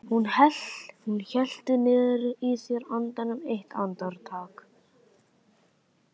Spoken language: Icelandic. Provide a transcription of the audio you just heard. Hún hélt niðri í sér andanum eitt andartak.